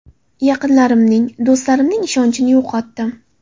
Yaqinlarimning, do‘stlarimning ishonchini yo‘qotdim.